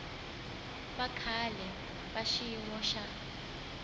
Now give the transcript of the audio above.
bya kahle bya xiyimo xa